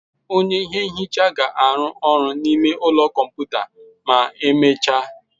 Onye ihe nhicha ga-arụ ọrụ n'ime ụlọ kọmputa ma emechaa.